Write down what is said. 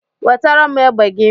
Wetara m egbe gị!